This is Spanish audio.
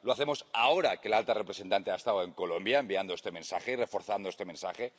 lo hacemos ahora que la alta representante ha estado en Colombia, enviando este mensaje, reforzando este mensaje